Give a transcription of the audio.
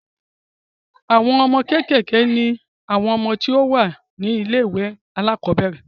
àwọn ọmọ kékèké ni àwọn ọmọ tí wọ́n wà ní ilé ìwé àkọ́bẹ̀rẹ̀